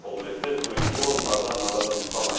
бұл ретте туристік орындар да назардан тыс қалмайды